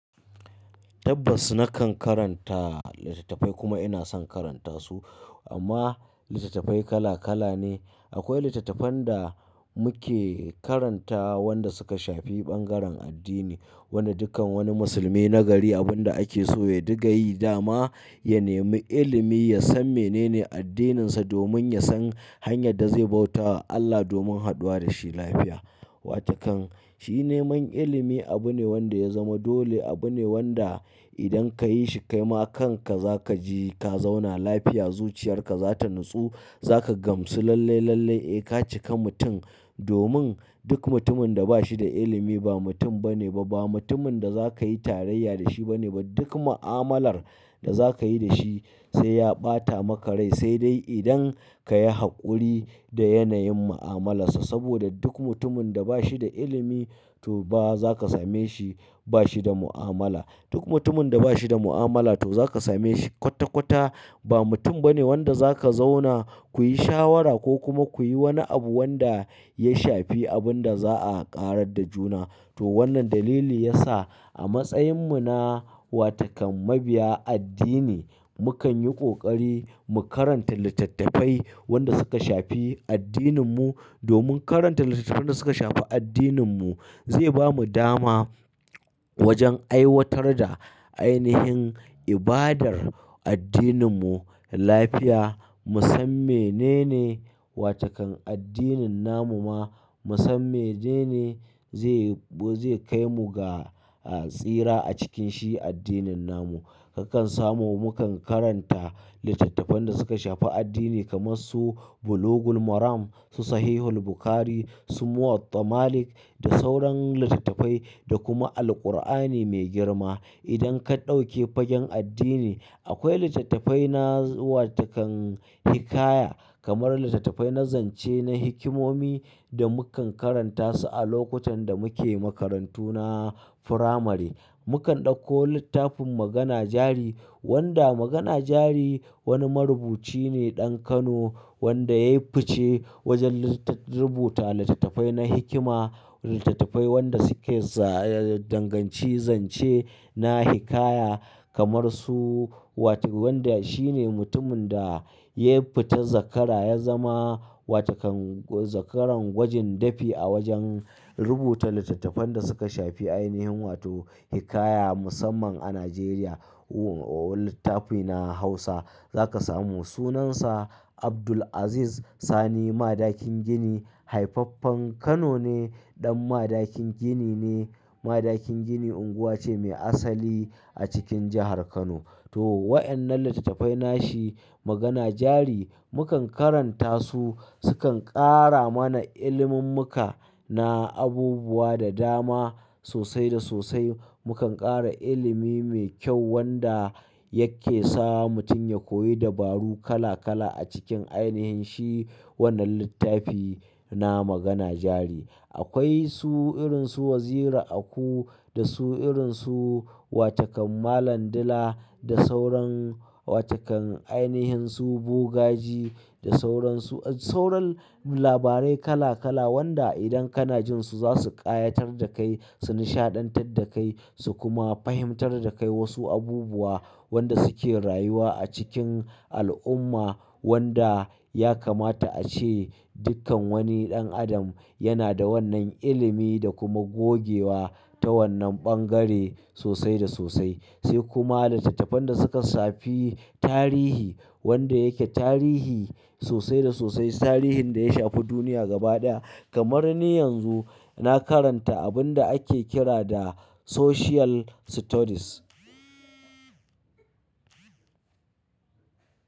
Tabbas na kan karanta littattafai kuma ina son karanta su amma littattafai kala kala ne. Akwai littattafan da muke karanta wanda suka shafi ɓangaren addini, wanda dukkan wani musulmi nagari abun da ake so ya diga yi dama, ya nemi ilimi, ya san menene addininsa domin ya san hanyar da zai bautawa Allah domin haduwa da shi lafiya. Wata kan shi neman ilimi abu ne wanda ya zama dole, abu ne wanda idan ka yi shi kai ma kanka za ka ji ka zauna lafiya, zuciyarka za ta natsu, za ka gamsu lallai lallai. Eh ka cika mutum domin duk mutumin da ba shi da ilimi ba mutum ba ne ba, ba mutumin da za ka yi tarayya da shi ba ne ba. Duk mu'amalar da za ka yi da shi sai ya ɓata maka rai, sai dai idan ka yi haƙuri da yanayin mu'amalarsa saboda duk mutumin da ba shi da ilimi to ba za ka same shi ba shi da mu'amala. Duk mutumin da ba shi da mu'amala to za ka same shi kwata kwata ba mutum ba ne wanda za ka zauna ku yi shawara ko kuma ku yi wani abu wanda ya shafi abin da za a ƙarar da juna. To wannan dalili ya sa a matsayin mu na wata kan mabiya addini, mu kan yi ƙoƙari mu karanta littattafai wanda suka shafi addinin mu domin karanta littattafan da suka shafi addinin mu zai ba mu dama wajen aiwatar da ainihin ibadar addinin mu lafiya. Mu san menene wata kan addinin namu ma, mu san menene zai, zai kai mu ga tsira a cikin shi addinin namu. Mukan samu mukan karan ta litattafan da suka ahafi addini kamar su bulugul maram su sahihul bukhari su muwadda malik da sauran litattafai da kuma alƙur'ani mai girma. Idan ka ɗauke fagen addini, akwai littattafai na wata kan hikaya kamar littattafai na zance, na hikimomi da mu kan karanta su a lokutan da muke makarantu na firamare. Mu kan ɗauko littafin Magana jari wanda Magana jari wani marubuci ne ɗan Kano wanda ya yi fice wajen rubuta littattafai na hikima, littattafai wanda suke za danganci zance na hikaya kamar su wata wanda shi ne mutumin da ya fita zakkara ya zama wata kan zakkaran gwajin dafi a wajen rubuta littattafan da suka shafi ainihin wato hikaya musamman a Najeriya. Littafi na Hausa za ka samu sunansa Abdul'aziz Sani Madakin gini, haifaffen Kano ne, ɗan Madakin gini ne. Madakin gini unguwa cee mai asali a cikin jahar kano. To wa innan littattafai na shi Magana jari mu kan karanta su, su kan ƙara mana ilimin muka na abubuwa da dama sosai da sosai. Mu kan ƙara ilimi mai kyau wanda yake sa mutum ya koyi dabaru kala kala a cikin ainihin shi wannan littafi na Magana jari. Akwai su irin su Waziri Aku da su irin su wata kan Malam Dila da sauran wata kan ainihin su Bogaji da sauran su, sauran labarai kala kala wanda idan kana jin su za su ƙayatar da kai, su nishaɗantar da kai su kuma fahimtar da kai wasu abubuwa wanda suke rayuwa a cikin al'umma wanda ya kamata a ce dukkan wani ɗan adam yana da wannan ilimi da kuma gogewa ta wannan ɓangare sosai da sosai. Sai kuma littattafan da suka shafi tarihi wanda yake tarihi sosai da sosai. Tarihin da ya shafi duniya gaba ɗaya kamar ni yanzu na karanta abun da ake kira da Social Studies.